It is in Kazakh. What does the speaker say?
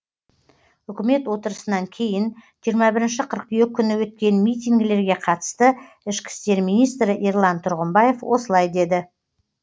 үкімет отырысынан кейін жиырма бірінші қыркүйек күні өткен митингілерге қатысты ішкі істер минитсрі ерлан тұрғымбаев осылай деді